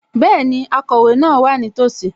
Bẹ́ẹ̀ni, akọ̀wé náà wà nítòsí